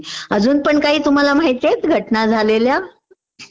अजून पण काही तुम्हाला माहितेयत घटना झालेल्या..